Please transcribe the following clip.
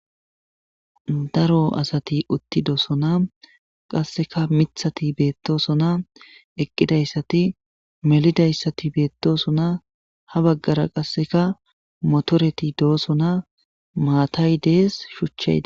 Daro asati uttidosona qaseka mithati betosona eqidaysa melidaysati betosona ha bagara qaseka motoroti dosona matay des shucha des